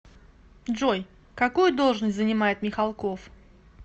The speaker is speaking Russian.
джой какую должность занимает михалков